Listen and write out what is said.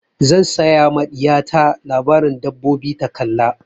Zan saya ma ɗiya ta labaren dabbobi ta kalla.